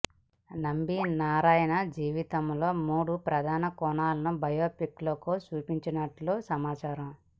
నంబి నారాయణ్ జీవితంలోని మూడు ప్రధాన కోణాలని బయోపిక్లో చూపించనున్నట్టు సమాచారం